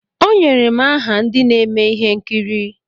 Onyere m aha ndị na-eme ihe nkiri.